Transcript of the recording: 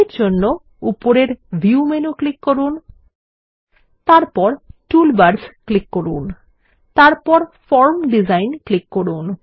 এর জন্য উপরের ভিউ মেনু ক্লিক করুন তারপর টুলবার্স ক্লিক করুন তারপর ফর্ম ডিজাইন ক্লিক করুন